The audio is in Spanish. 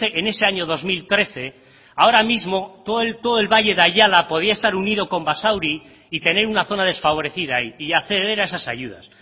en ese año dos mil trece ahora mismo todo el valle de ayala podía estar unido con basauri y tener una zona desfavorecida ahí y acceder a esas ayudas